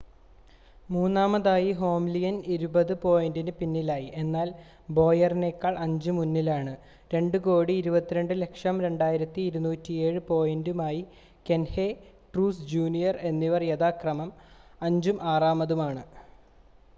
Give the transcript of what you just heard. മൂന്നാമതായി ഹാംലിൻ ഇരുപത് പോയിൻ്റ് പിന്നിലാണ് എന്നാൽ ബോയറിനേക്കാൾ 5 മുന്നിലാണ് 2,220 2,207 പോയിൻ്റുമായി കഹ്നെ ട്രൂക്സ് ജൂനിയർ എന്നിവർ യഥാക്രമം അഞ്ചും ആറാമതുമാണ്